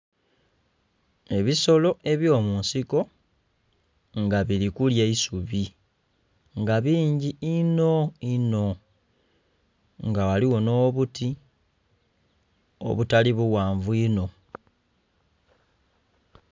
Ebisolo ebyomunsiko nga birikulya eisubi nga bingi inho inho nga ghaligho nh'obuti obutali bughanvu inho.